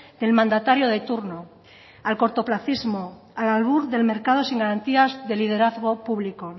del mandatario de turno al cortoplacismo al albur del mercado sin garantías de liderazgo público